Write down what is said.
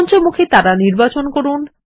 পঞ্চমুখী তারা নির্বাচন করুন